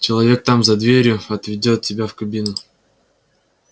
человек там за дверью отведёт тебя в кабину